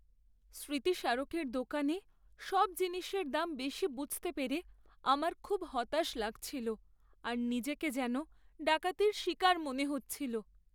স্মৃতিস্মারকের দোকানে সব জিনিসের দাম বেশি বুঝতে পেরে আমার খুব হতাশ লাগছিল আর নিজেকে যেন ডাকাতির শিকার মনে হচ্ছিল।